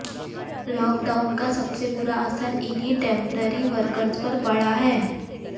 lockdown का सबसे बुरा असर इन्हीं टेम्पररी वर्कर्स पर पड़ा है